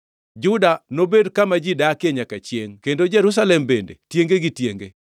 Juda nobed kama ji odakie nyaka chiengʼ kendo Jerusalem bende tienge gi tienge.